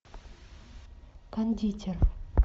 кондитер